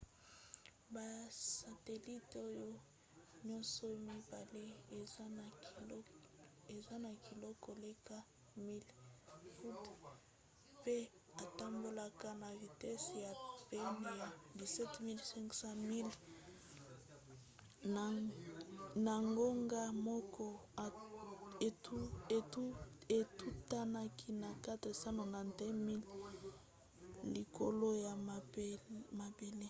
basatelite oyo nyonso mibale eza na kilo koleka 1 000 pounds mpe etambolaka na vitese ya pene ya 17 500 miles na ngonga moko etutanaki na 491 miles likolo ya mabele